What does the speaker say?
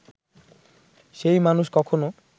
সেই মানুষ কখনো